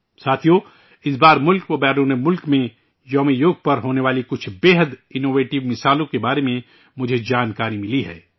ساتھیو، اس بار ملک اور بیرون ملک میں 'یوگ دیوس' پر ہونے والے کچھ انتہائی انوویٹیو مثالوں کے بارے میں مجھے علم ہوا ہے